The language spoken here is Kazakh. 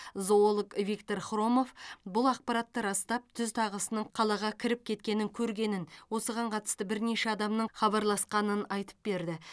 зоолог виктор хромов бұл ақпаратты растап түз тағысының қалаға кіріп кеткенін көргенін осыған қатысты бірнеше адамның хабарласқанын айтып берді